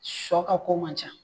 Sɔ ka ko man ca